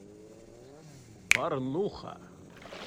порнуха